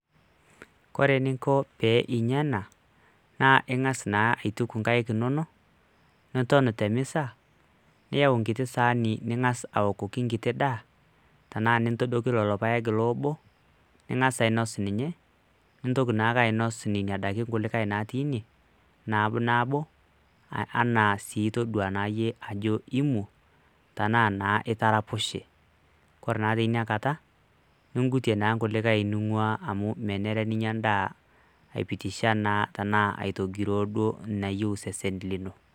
Kore ening'o pee inya ena ning'as naa aituk nkaek inonok niton te mesa niyau nkiti saani ning'as aokoki nkiti daa tenaa nintodoki lelo paek loobo, ning'as ainos ninye nintoki naake ainos nena daiki kulikai natii ine nabo nabo enaa sii todua naa yie ajo imu, tenaa naa itaraposhe kore naa tinakata ning'utie naa nkulikai ning'ua amu menare ninya ndaa aipitisha naa tenaa aitogiroo duo nayeu sesen lino.